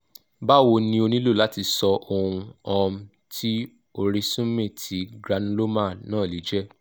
bawo ni o nilo lati so ohun um ti orisunme ti granuloma na le je